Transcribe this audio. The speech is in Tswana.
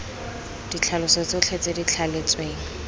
ditlhaloso tsotlhe tse di thaletsweng